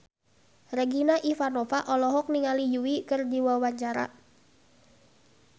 Regina Ivanova olohok ningali Yui keur diwawancara